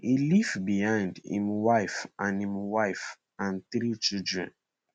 e leave behind imwife and imwife and three children